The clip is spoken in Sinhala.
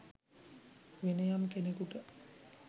වෙනයම් කෙනෙකුට